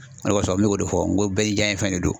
O de kɔsɔ n mɛ ko de fɔ n ko bɛɛ ni jaɲɛ fɛn de don.